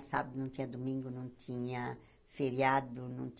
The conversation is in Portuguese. sábado, não tinha domingo, não tinha feriado.